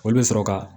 Olu bɛ sɔrɔ ka